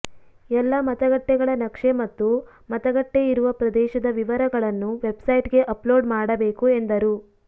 ಎಲ್ಲ ಮತಗಟ್ಟೆಗಳ ನಕ್ಷೆ ಮತ್ತು ಮತಗಟ್ಟೆ ಇರುವ ಪ್ರದೇಶದ ವಿವರಗಳನ್ನು ವೆಬ್ಸೈಟ್ಗೆ ಅಪ್ಲೋಡ್ ಮಾಡಬೇಕು ಎಂದರು